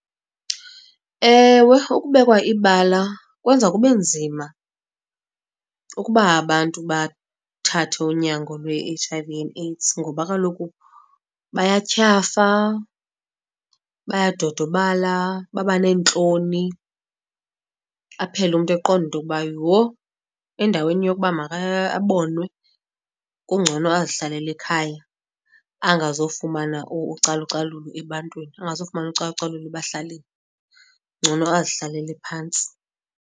Ewe, ukubekwa ibala kwenza kube nzima ukuba abantu bathathe unyango lwe-H_I_V and AIDS, ngoba kaloku bayathyafa, bayadodobala, babaneentloni, aphele umntu eqonda into yokuba yho! Endaweni yokuba abonwe kungcono azihlalele ekhaya angazufumana ucalucalulo ebantwini, angazufumana ucalucalulo ebahlalini. Ngcono azihlalele phantsi.